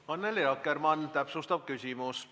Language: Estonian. Annely Akkermann, täpsustav küsimus.